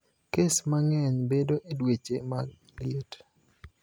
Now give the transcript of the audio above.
Kes mang`eny bedo e dweche mag liet.